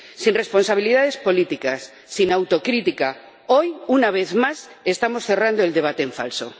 Sin responsabilidades políticas, sin autocrítica, hoy —una vez más—, estamos cerrando el debate en falso.